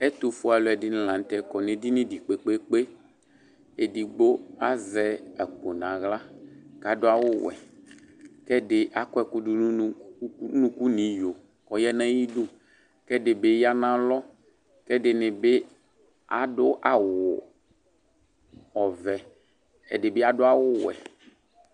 Ɛtufue aluɛdini la nu tɛ akɔ nu edinie kpekpe kpekpe edigbo azɛ akpo naɣla ku adu awu ɔwɛ ku ɛdi akɔ ɛku du nu unuku nu iɣo ku ɔya nu ayidu ku ɛdibi ya nu alɔ ɛdinibi adu nu áwu ɔvɛ ɛdibi adu awu owɛ